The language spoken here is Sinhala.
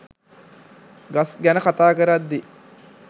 ගස් ගැන කතා කරද්දි